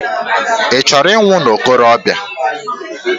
Ị chọrọ ịnwụ na nwokorobia?